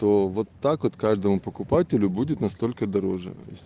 то вот так вот каждому покупателю будет настолько дороже